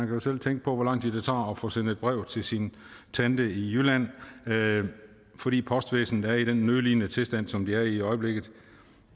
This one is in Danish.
jo selv tænke på hvor lang tid det tager at få sendt et brev til sin tante i jylland fordi postvæsenet er i den nødlidende tilstand som det er i i øjeblikket